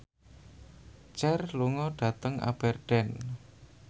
Cher lunga dhateng Aberdeen